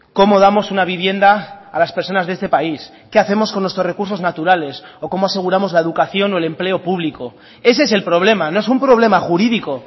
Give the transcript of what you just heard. cómo damos una vivienda a las personas de este país qué hacemos con nuestros recursos naturales o cómo aseguramos la educación o el empleo público ese es el problema no es un problema jurídico